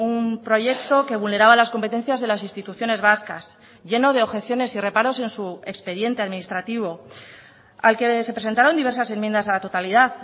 un proyecto que vulneraba las competencias de las instituciones vascas lleno de objeciones y reparos en su expediente administrativo al que se presentaron diversas enmiendas a la totalidad